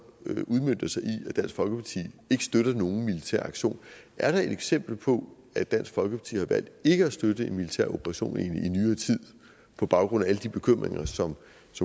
i at dansk folkeparti ikke støtter nogen militær aktion er der et eksempel på at dansk folkeparti har valgt ikke at støtte en militær operation i nyere tid på baggrund af alle de bekymringer som